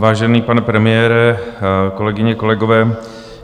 Vážený pane premiére, kolegyně, kolegové.